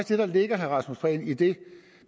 det der ligger i det